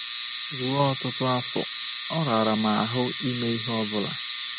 Ruo ọtụtụ afọ, ọ rara m ahụ ime ihe ọ bụla.